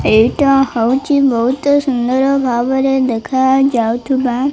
ଏଇଟା ହଉଚି ବହୁତ ସୁନ୍ଦର ଭାବରେ ଦେଖା ଯାଉ ଥିବା --